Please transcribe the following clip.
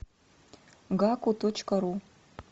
гаку точка ру